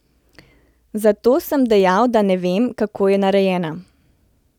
Zato sem dejal, da ne vem, kako je narejena.